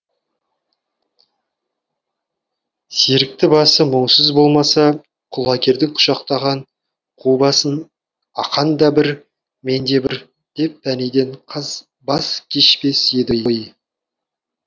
серікті басы мұңсыз болмаса құлагердің құшақтаған қу басын ақанда бір менде бір деп пәниден баз кешпес еді ғой